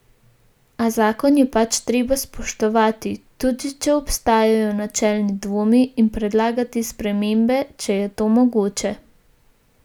A zakon je pač treba spoštovati, tudi če obstajajo načelni dvomi, in predlagati spremembe, če je to mogoče.